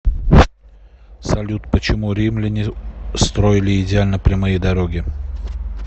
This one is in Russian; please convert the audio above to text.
салют почему римляне строили идеально прямые дороги